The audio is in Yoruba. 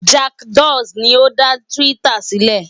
Jack Dorsey ni ó dá Twitter sílẹ̀.